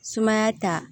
Sumaya ta